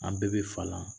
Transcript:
An bɛɛ bɛ falan